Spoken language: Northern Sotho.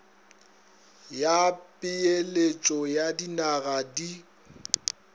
ya peeletšo ya dinaga di